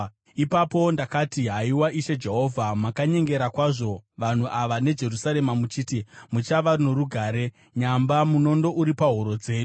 Ipapo ndakati, “Haiwa, Ishe Jehovha, makanyengera kwazvo vanhu ava neJerusarema muchiti, ‘Muchava norugare,’ nyamba munondo uri pahuro dzedu.”